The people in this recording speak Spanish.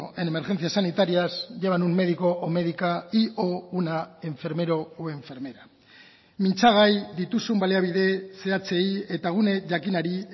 en emergencias sanitarias llevan un médico o médica y o una enfermero o enfermera mintzagai dituzun baliabide zehatzei eta gune jakinari